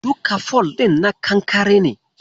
Duka fol ɗin na kankare ne.